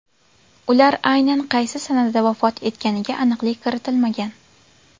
Ular aynan qaysi sanada vafot etganiga aniqlik kiritilmagan.